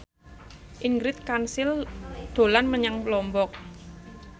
Ingrid Kansil dolan menyang Lombok